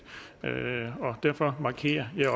og derfor markerede jeg